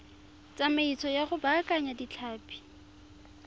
tsamaiso ya go baakanya ditlhapi